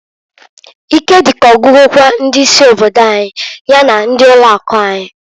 Ike dị ka ogwugokwu ndị isi obodo anyị ya na ndị ụlọ akụ anyị.